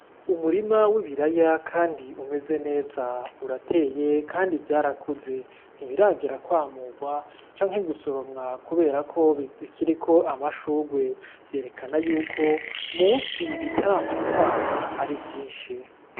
Umurima w'ibiraya kandi umeze neza urateye kandi vyarakuze ntibiragera kwamugwa canke gusoromwa kuberako bikiriko amashugwe vyerekana yuko munsi bitaramara kwama arivyinshi.